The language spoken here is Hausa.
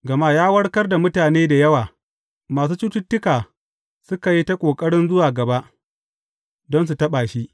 Gama ya warkar da mutane da yawa, masu cututtuka suka yi ta ƙoƙarin zuwa gaba, don su taɓa shi.